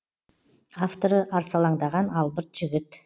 авторы арсалаңдаған албырт жігіт